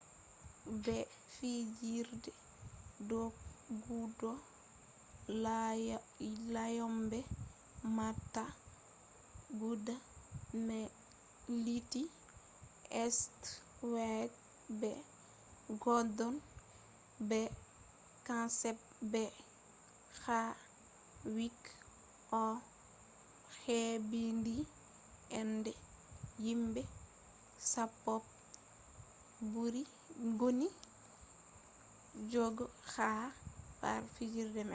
be fijerde doggudu lanyoɓe mota guda nai lutti stewat be godon be kenset be havik on hebbini inde himɓe sappo je ɓuri doggudu ha pat fijerde man